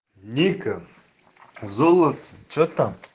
ника золотце что там